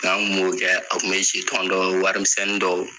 Ka n kun b'o kɛ, a kun be jitɔn dɔw warimisɛnnin dɔw